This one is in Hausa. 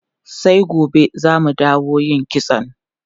Sai gobe za mu dawo yin kitson.